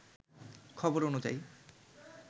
খবর অনুযায়ী